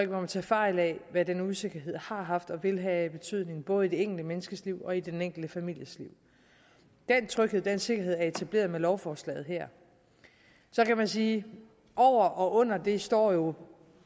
må tage fejl af hvad den usikkerhed har haft og vil have af betydning både i det enkelte menneskes liv og i den enkelte families liv den tryghed og den sikkerhed er etableret med lovforslaget her så kan man sige at over og under det står jo